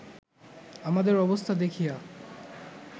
আমাদের অবস্থা দেখিয়া